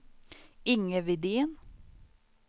Inge Widén